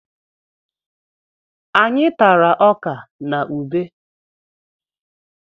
Anyị tara ọkà na ubé.